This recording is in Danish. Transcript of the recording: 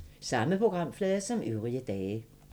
Samme programflade som øvrige dage